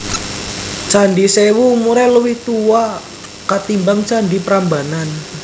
Candhi Sèwu umuré luwih tuwa katimbang candhi Prambanan